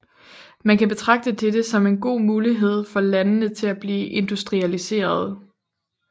Man kan betragte dette som en god mulighed for landene til at blive industrialiserede